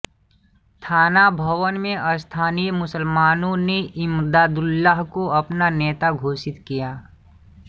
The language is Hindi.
थाना भवन में स्थानीय मुसलमानों ने इमदादुल्लाह को अपना नेता घोषित किया